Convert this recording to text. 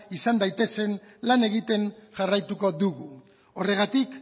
izan daitezen lan egiten jarraituko dugu horregatik